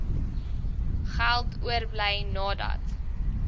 geld oorbly nadat